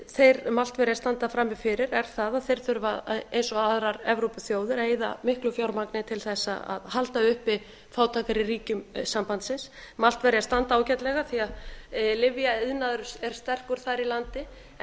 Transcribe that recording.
þeir maltverjar standa frammi fyrir er það að þeir þurfa eins og aðrar evrópuþjóðir að eyða miklu fjármagni til þess að halda uppi fátækari ríkjum sambandsins maltverjar standa ágætlega því að lyfjaiðnaður er sterkur þar í landi en